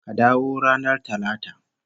Ka dawo ranar Talata